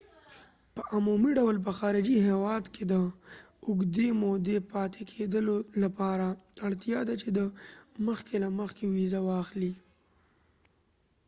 په عمومي ډول په خارجي هیواد کې د اوږدې مودې پاتې کیدلو لپاره اړتیا ده چې ته مخکې له مخکې ویزه واخلې